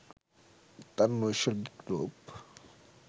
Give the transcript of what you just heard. তার নৈসর্গিক রূপ